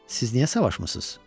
Siz niyə savaşmısınız?